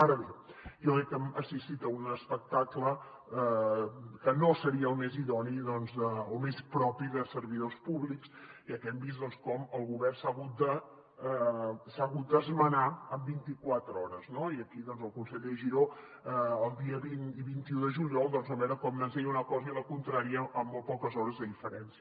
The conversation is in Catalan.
ara bé jo crec que hem assistit a un espectacle que no seria el més idoni o més propi de servidors públics ja que hem vist com el govern s’ha hagut d’esmenar en vintiquatre hores no i aquí doncs el conseller giró el dia vint i vint un de juliol vam veure com ens deia una cosa i la contrària amb molt poques hores de diferència